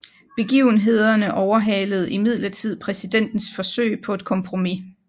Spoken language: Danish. Begivenhederne overhalede imidlertid præsidentens forsøg på et kompromis